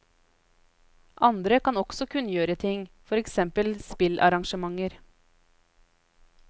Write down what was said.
Andre kan også kunngjøre ting, for eksempel spillarrangementer.